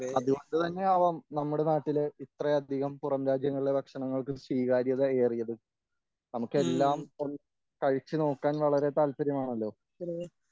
അതുകൊണ്ടുതന്നെയാവാം നമ്മുടെ നാട്ടില് ഇത്രയധികം പുറം രാജ്യങ്ങളിലെ ഭക്ഷണങ്ങൾക്ക് സ്വീകാര്യതയേറിയത് നമുക്കെല്ലാം ഒന്ന് കഴിച്ചു നോക്കാൻ വളരെ താൽപര്യമാണല്ലോ